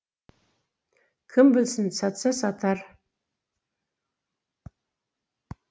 кім білсін сатса сатар